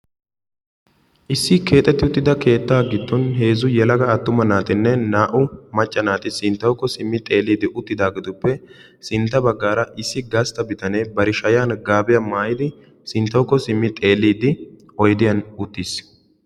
Issi keexxeti uttida keetta giddon heezzu yelaga attuma naatinne naa''u macca naati sinttawuko simmi xeellidi uttidaahetupp sintta baggaara issi gastta bitanee bari shayyan gaabiya maayidi sinttawukko simmi xeellidde oydiyan uttiis.